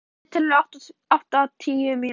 Hlíf, stilltu niðurteljara á áttatíu mínútur.